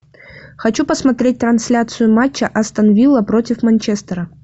хочу посмотреть трансляцию матча астон вилла против манчестера